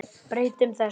Breytum þessu!